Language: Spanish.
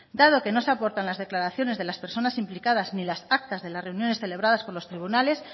dado que no se aportan las declaraciones de las personas implicadas ni las actas de las reuniones celebradas por los tribunales